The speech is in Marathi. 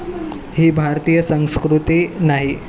ही भारतीय संस्कृती नाही